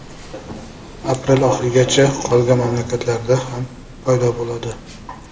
Aprel oxirigacha qolgan mamlakatlarda ham paydo bo‘ladi.